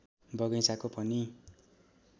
बगैँचाको पनि